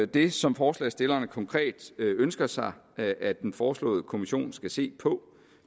det som forslagsstillerne konkret ønsker sig at at den foreslåede kommission skal se på